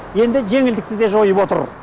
енді жеңілдікті де жойып отыр